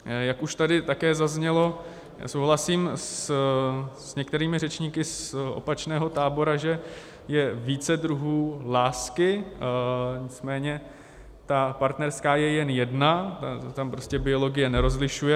Jak už tady také zaznělo, souhlasím s některými řečníky z opačného tábora, že je více druhů lásky, nicméně ta partnerská je jen jedna, tam prostě biologie nerozlišuje.